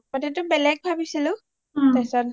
প্ৰথমেতেটো বেলেগ ভাবিছিলো তাৰপিছত